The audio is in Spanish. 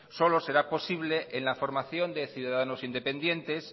solo será posible en la formación de ciudadanos independientes